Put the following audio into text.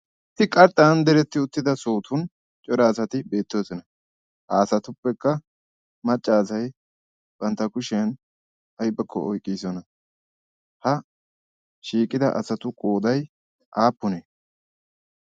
issi qarxxan deretti uttida sootun cora asati beettoosona. ha asatuppekka maccaasai bantta kushiyan aibakko oiqqiisona. ha shiiqida asatu qoodai aappunee?